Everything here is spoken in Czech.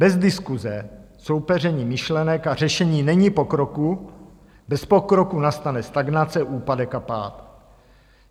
Bez diskuse, soupeření myšlenek a řešení není pokroku, bez pokroku nastane stagnace úpadek a pád.